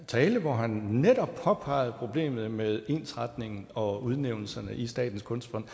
tale hvor han netop påpegede problemet med ensretningen og udnævnelserne i statens kunstfond